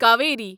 Kaveri